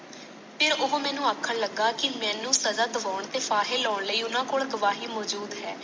ਫਿਰ ਉਹ ਮੈਨੂੰ ਆਖਣ ਲਗਾ ਕਿ ਮੈਨੂੰ ਸਾਜਾ ਦਾਵਨ ਤੇ ਫਾਹੇ ਲਾਣ ਲਈ ਓਨਾ ਕੋਲ ਗਵਾਹੀ ਮਾਜੂਦ